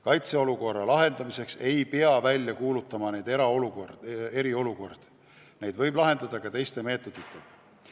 Kaitseolukorra lahendamiseks ei pea välja kuulutama neid eriolukordi, neid võib lahendada ka teiste meetoditega.